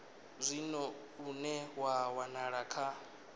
zwino une wa wanala kha